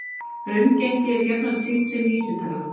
Raungengi er jafnan sýnt sem vísitala